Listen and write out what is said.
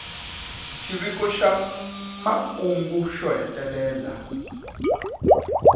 xiviko xa makungu xo hetelela